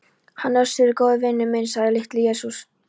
Hann Össur er góður vinur minn, sagði Litli-Jesús.